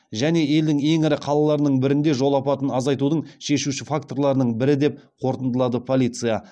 және елдің ең ірі қалаларының бірінде жол апатын азайтудың шешуші факторларының бірі деп қорытындылады полиция